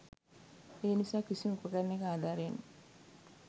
ඒ නිසා කිසිම උපකරණයක අධාරයෙන්